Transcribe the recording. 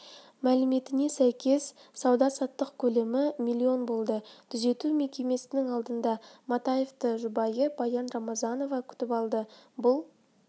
мәліметіне сәйкес сауда-саттық көлемі миллион болды түзету мекемесінің алдында матаевты жұбайы баян рамзанова күтіп алды бұл